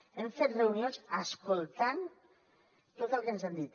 hem fet reunions escoltant tot el que ens han dit